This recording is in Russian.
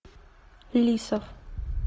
лисов